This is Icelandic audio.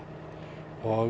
og